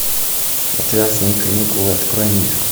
отвязные каникулы открой мне